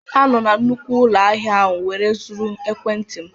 A nọọ na nnukwu ụlọ ahịa ahụ wee zuru ekwentị m.